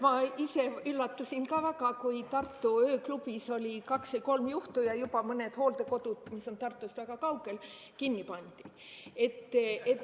Ma ise üllatusin ka väga, kui Tartu ööklubis oli kaks või kolm juhtu ja juba mõned hooldekodud, mis on Tartust väga kaugel, kinni pandi.